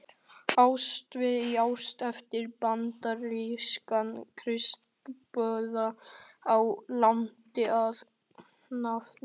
Ástvaldi í Ási eftir bandarískan kristniboða á Indlandi að nafni